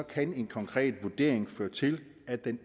kan en konkret vurdering føre til at den